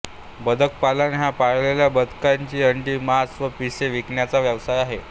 बदक पालन हा पाळलेल्या बदकांची अंडी मांस व पिसे विकण्याचा व्यवसाय आहे